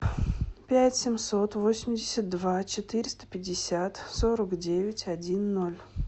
пять семьсот восемьдесят два четыреста пятьдесят сорок девять один ноль